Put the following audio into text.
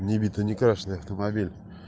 не битый не крашенный автомобиль